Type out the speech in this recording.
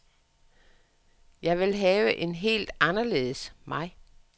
Jeg vil have en helt anderledes mig.